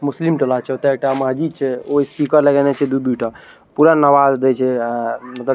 मुस्लिम डला छे चुटा इटा माजी छे ओ स्पीकर लगयने छे दूइ -दूइ ठो पूरा नवाज भेजे --